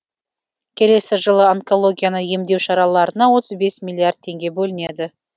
келесі жылы онкологияны емдеу шараларына отыз бес миллиард теңге бөлінеді